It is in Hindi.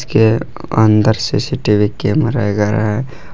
के अंदर सी_सी_टी_वी कैमरा है।